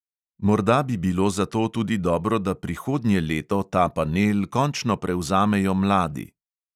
Morda bi bilo zato tudi dobro, da prihodnje leto ta panel končno prevzamejo mladi.